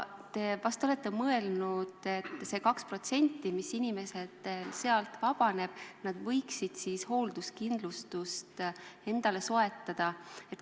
Te vist olete mõelnud, et selle 2% eest, mis inimesel sealt vabaneb, võiks soetada hoolduskindlustuse.